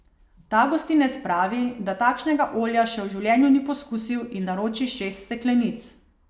Ta gostinec pravi, da takšnega olja še v življenju ni poskusil in naroči šest steklenic.